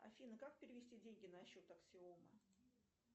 афина как перевести деньги на счет аксиома